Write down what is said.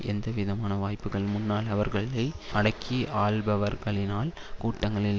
எந்தவிதமான வாய்ப்புகள் முன்னால் அவர்களை அடக்கியாள்பவர்களினால் கூட்டங்களில்